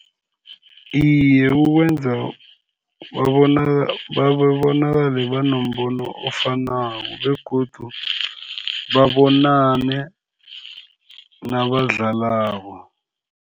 Iye, kubenza babonakale banombono ofanako, begodu babonane nabadlalako.